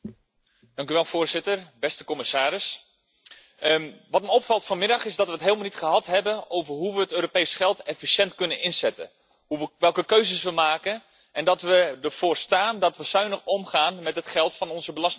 Voorzitter, beste commissaris, wat me opvalt vanmiddag is dat we het helemaal niet gehad hebben over hoe we het Europees geld efficiënt kunnen inzetten, welke keuzes we maken en dat we ervoor staan dat we zuinig omgaan met het geld van onze belastingbetaler.